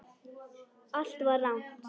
Allt var rangt.